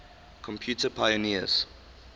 computer pioneers